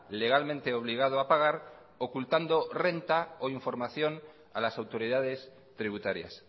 legalmente obligado a pagar ocultando renta o información a las autoridades tributarias